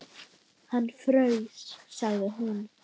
Hann fraus, sagði hún.